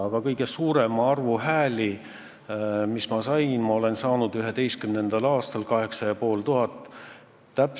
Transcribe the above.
Aga kõige suurema arvu hääli, mis ma saanud olen, olen saanud 2011. aastal: 8500 häält.